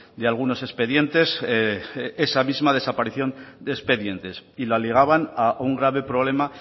de algunos expedientes esa misma desaparición de expedientes y la ligaban a un grave problema